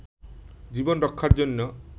জীবন রক্ষার জন্য